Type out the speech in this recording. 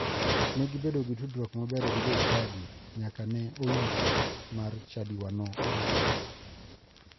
Ne gibedo gi tudruok maber gi jochadi nyaka ne oyik mar chadiwano orumo.